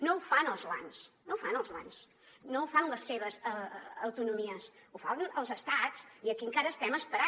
no ho fan els bancs no ho fan els lands no ho fan les seves autonomies ho fan els estats i aquí encara estem esperant